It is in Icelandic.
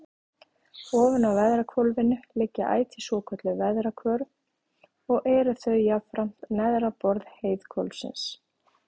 Ofan á veðrahvolfinu liggja ætíð svokölluð veðrahvörf og eru þau jafnframt neðra borð heiðhvolfsins.